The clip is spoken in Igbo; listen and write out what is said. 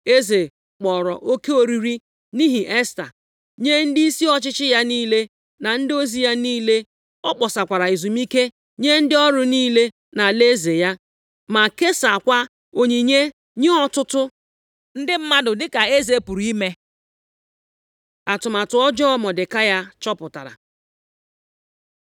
Eze kpọrọ oke oriri, nʼihi Esta, nye ndịisi ọchịchị ya niile na ndị ozi ya niile. Ọ kpọsara ezumike nye ndị ọrụ niile nʼalaeze ya, ma kesaakwa onyinye nye ọtụtụ ndị mmadụ dịka eze pụrụ ime. Atụmatụ ọjọọ Mọdekai chọpụtara